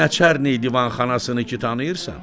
Nəçərni divanxanasını ki tanıyırsan?